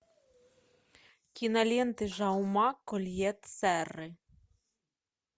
киноленты жауме кольет серры